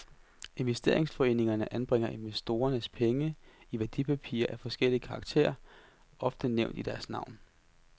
Investeringsforeningerne anbringer investorernes penge i værdipapirer af forskellig karakter, ofte nævnt i deres navn.